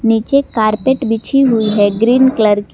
नीचे कारपेट बची हुई है ग्रीन कलर की।